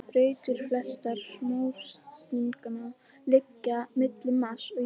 Brautir flestra smástirnanna liggja milli Mars og Júpíters.